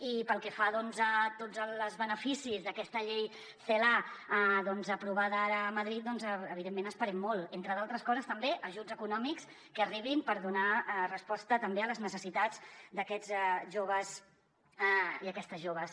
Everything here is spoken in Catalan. i pel que fa a tots els beneficis d’aquesta llei celaá aprovada ara a madrid evidentment n’esperem molt entre altres coses també ajuts econòmics que arribin per donar resposta també a les necessitats d’aquests joves i aquestes joves